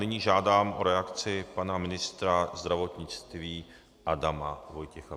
Nyní žádám o reakci pana ministra zdravotnictví. Adama Vojtěcha.